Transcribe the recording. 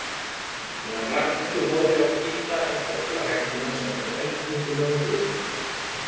meðan Ragnhildur horfði á hvíta en þögla veggina sá hún eldtungurnar úr draumnum.